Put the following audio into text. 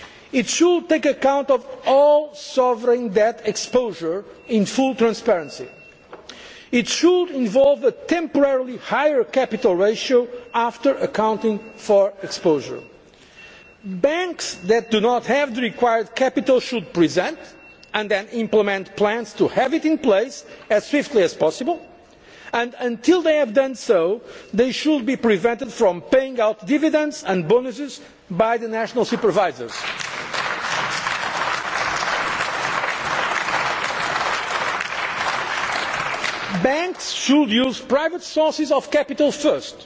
It should take account of all sovereign debt exposure in full transparency it should involve a temporarily higher capital ratio after accounting for exposure. Banks that do not have the required capital should present and then implement plans to have it in place as swiftly as possible and, until they have done so, they should be prevented from paying out dividends and bonuses by the national supervisors. Banks should use private sources of capital